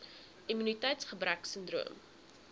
immuniteits gebrek sindroom